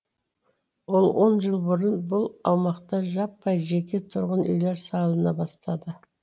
ол он жыл бұрын бұл аумақта жаппай жеке тұрғын үйлер салына бастады